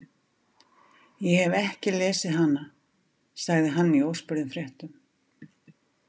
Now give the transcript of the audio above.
Ég hef ekki lesið hana, sagði hann í óspurðum fréttum.